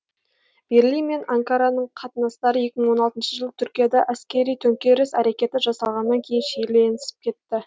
берлин мен анкараның қатынастары екі мың он алтыншы жылы түркияда әскери төңкеріс әрекеті жасалғаннан кейін шиеленісіп кетті